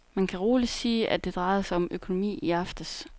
Man kan roligt sige, at det drejede sig om økonomi i aftes.